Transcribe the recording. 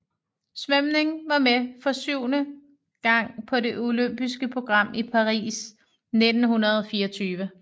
Svømning var med for syvende gang på det olympiske program i Paris 1924